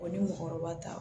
ni mɔgɔkɔrɔba ta